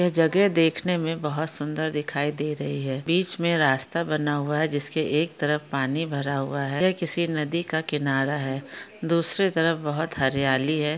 जगह देखने मे बहुत सुंदर दिखाई दे रही है। बीच मे रास्ता बना हुआ है। जिसके एक तरफ पानी भरा हुआ है। ये किसी नदी का किनारा है। दूसरी तरफ बहुत हरियाली है।